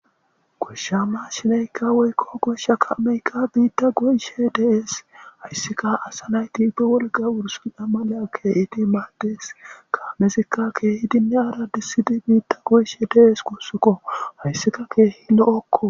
Goshsha ma shineykka woykko goshsha kaameykka biitta go'ishe dees hayssika asa nayti be wolga wurs a mala kee iidi maaddees kaamezikka keehidinne aradisidi biitta go'ishe dees kussukko hayssika keehi lo'okko.